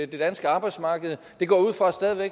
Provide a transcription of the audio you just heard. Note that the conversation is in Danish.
det danske arbejdsmarked jeg går ud fra